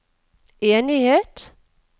enighet